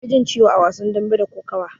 Anfi jin ciwo a wasan dambe da kokawa.